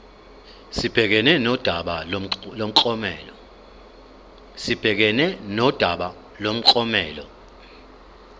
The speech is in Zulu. sibhekane nodaba lomklomelo